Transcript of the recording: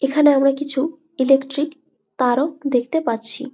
এইখানে আমরা কিছু ইলেকট্রিক তারও দেখতে পাচ্ছি ।